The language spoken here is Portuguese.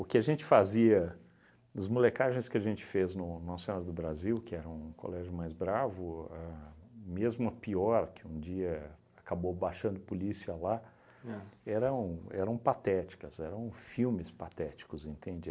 que a gente fazia, as molecagens que a gente fez no Nossa Senhora do Brasil, que era um colégio mais bravo, a mesmo a pior, que um dia acabou baixando polícia lá, eram eram patéticas, eram filmes patéticos, entende?